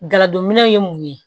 Galadinɛw ye mun ye